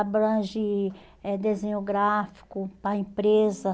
Abrange eh desenho gráfico para a empresa.